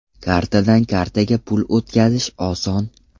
Kartadan kartaga pul o‘tkazish oson!